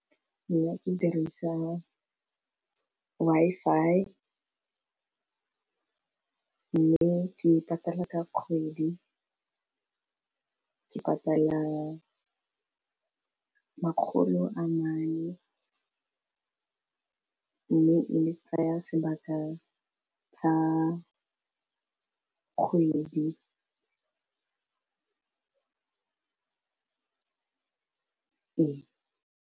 Nna ke dirisa Wi-Fi mme ke patala ka kgwedi ke patala makgolo a mane, mme e ntsaya sebaka sa kgwedi re.